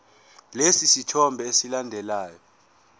lesi sithombe esilandelayo